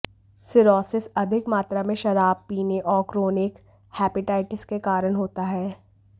cirrhosis अधिक मात्रा में शराब पीनें और क्रोनिक हेपेटाइटिस के कारण होता है